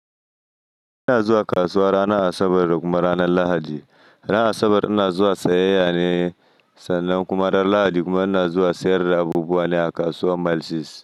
Ina zuwa kasuwa ranar Asabar da kuma ranar Lahadi. Ranar Asabar ina zuwa sayayya ne sannan kuma ran Lahadi kuma ina zuwa sayar da abubuwa ne a kasuwar Mile Six.